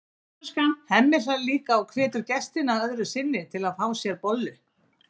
Hemmi hlær líka og hvetur gestina öðru sinni til að fá sér bollu.